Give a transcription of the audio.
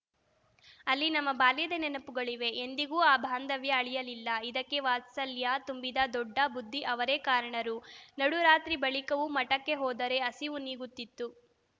ಅಲ್ಲಿ ನಮ್ಮ ಬಾಲ್ಯದ ನೆನಪುಗಳಿವೆ ಎಂದಿಗೂ ಆ ಬಾಂಧವ್ಯ ಅಳಿಯಲಿಲ್ಲ ಇದಕ್ಕೆ ವಾತ್ಸಲ್ಯ ತುಂಬಿದ ದೊಡ್ಡ ಬುದ್ಧಿ ಅವರೇ ಕಾರಣರು ನಡುರಾತ್ರಿ ಬಳಿಕವೂ ಮಠಕ್ಕೆ ಹೋದರೆ ಹಸಿವು ನೀಗುತ್ತಿತ್ತು